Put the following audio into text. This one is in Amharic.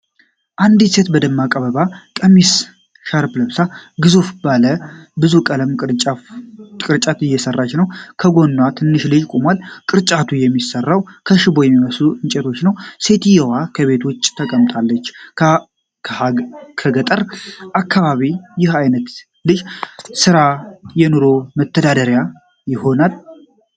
አንዲት ሴት በደማቅ የአበባ ቀሚስና ሻርፕ ለብሳ ግዙፍ ባለ ብዙ ቀለም ቅርጫት እየሰራች ነው። ከጎኗ ትንሹ ልጅ ቆሟል። ቅርጫቱ የሚሰራው ከሽቦ የሚመስሉ እንጨቶች ነው። ሴትየዋ ከቤት ውጪ ተቀምጣለች። በገጠር አካባቢዎች ይህ አይነቱ የእጅ ሥራ የኑሮ መተዳደሪያ ይሆናል?